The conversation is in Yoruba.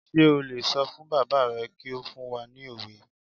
Sé o lè sọ fún bàbá rẹ kí ó fún wa ní òwe?